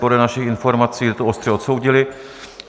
Podle našich informací to ostře odsoudili.